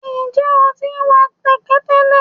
njẹ o ti wa kẹkẹ tẹlẹ?